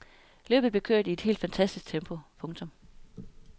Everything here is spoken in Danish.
Løbet blevet kørt i et helt fantastisk tempo. punktum